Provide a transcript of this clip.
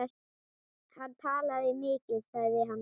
Hann talaði mikið sagði hann.